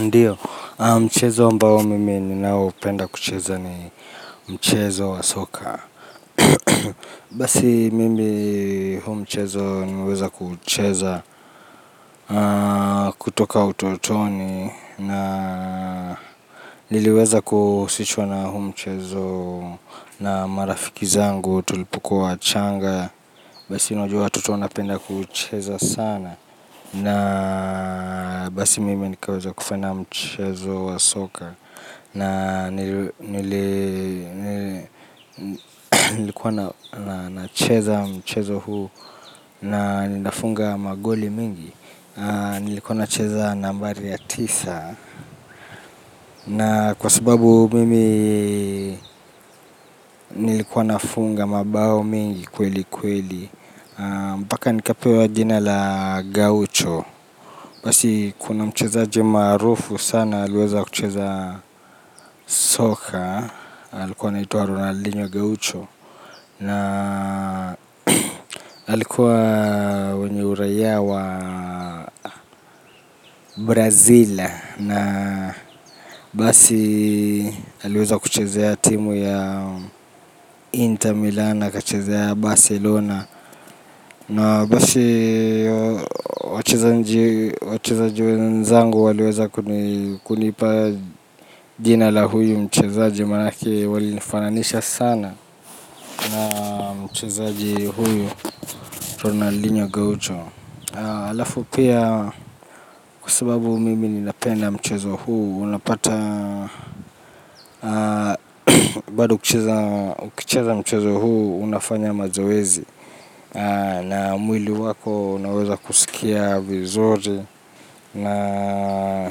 Ndiyo, mchezo ambao mimi ninaopenda kucheza ni mchezo wa soka. Basi mimi huu mchezo nimeweza kuucheza kutoka utotoni na niliweza kuhusishwa na huu mchezo na marafiki zangu tulipukua wachanga. Basi unajua watoto wanapenda kucheza sana. Na basi mimi nikaweza kupenda mchezo wa soka. Na nilikuwa na cheza mchezo huu na ninafunga magoli mingi. Nilikuwa na cheza nambari ya tisa. Na kwa sababu mimi nilikuwa na funga mabao mingi kweli kweli. Mpaka nikapewa jina la gaucho. Basi kuna mchezaji maarufu sana aliweza kucheza Soka. Alikuwa anaitwa Ronaldinho Gaucho. Na alikuwa mwenye uraia wa Brazila. Na basi aliweza kuchezea ya timu ya Inter Milan akachezea ya Barcelona na basi wachezaji wanzangu waliweza kunipa jina la huyu mchezaji manake wali nifananisha sana na mchezaji huyu Ronaldinho Gaucho alafu pia kwa sababu mimi ninapenda mchezo huu unapata bado kucheza ukicheza mchezo huu unafanya mazoezi. Na mwili wako unaweza kusikia vizuri na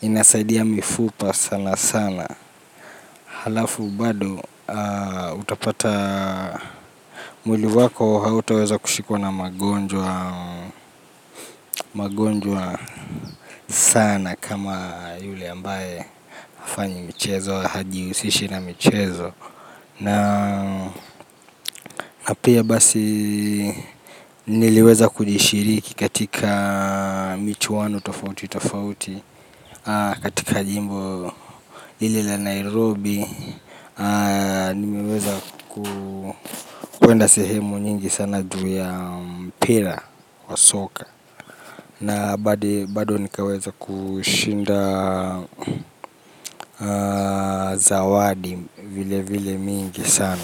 inasaidia mifupa sana sana. Halafu bado utapata mwili wako hautaweza kushikwa na magonjwa magonjwa sana kama yule ambaye hafanyi michezo hajihusishi na michezo. Na pia basi niliweza kujishiriki katika michwanu tofauti tofauti. Katika jimbo hili la Nairobi. Nimeweza kwenda sehemu nyingi sana juu ya mpira wa soka. Na bado nikaweza kushinda zawadi vile vile mingi sana.